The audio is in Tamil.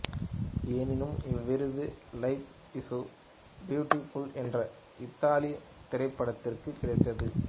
எனினும் இவ்விருது லைப் இசு பியூட்டிப்புல் என்ற இத்தாலியத் திரைப்படத்திற்குக் கிடைத்தது